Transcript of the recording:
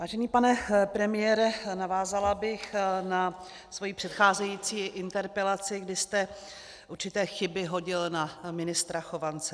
Vážený pane premiére, navázala bych na svou předcházející interpelaci, kdy jste určité chyby hodil na ministra Chovance.